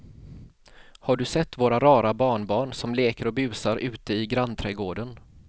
Har du sett våra rara barnbarn som leker och busar ute i grannträdgården!